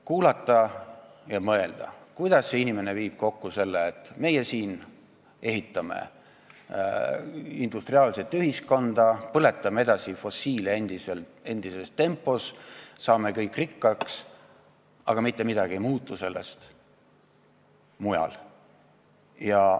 Kuulasin ja mõtlesin, kuidas see inimene viib kokku selle, et meie siin ehitame industriaalset ühiskonda, põletame fossiilset kütust edasi endises tempos, saame kõik rikkaks, aga mujal mitte midagi ei muutu.